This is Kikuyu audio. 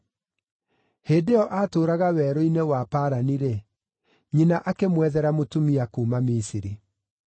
Hĩndĩ ĩyo aatũũraga Werũ-inĩ wa Parani-rĩ, nyina akĩmwethera mũtumia kuuma Misiri.